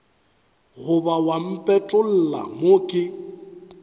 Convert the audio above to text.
goba wa mpetolla mo ke